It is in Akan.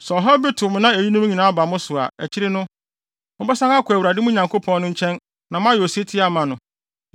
Sɛ ɔhaw bi to mo na eyinom nyinaa ba mo so a, akyiri no, mobɛsan akɔ Awurade, mo Nyankopɔn no, nkyɛn na moayɛ osetie ama no.